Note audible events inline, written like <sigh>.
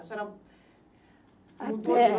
A senhora mudou <unintelligible>